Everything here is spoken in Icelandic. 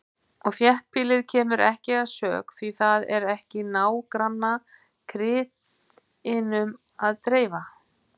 Og þéttbýlið kemur ekki að sök, því það er ekki nágrannakrytinum til að dreifa.